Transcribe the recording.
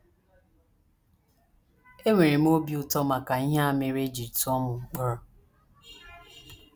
Enwere m obi ụtọ maka ihe a mere e ji tụọ m mkpọrọ. ”